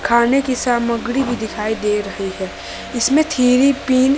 खाने की सामग्री भी दिखाई दे रही है इसमें थ्री पिन --